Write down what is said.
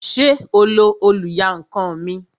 Ṣé o lo oluyankan mi?